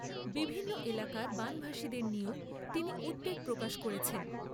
বিভিন্ন এলাকার বানভাসীদের নিয়েও তিনি উদ্বেগ প্রকাশ করেছেন।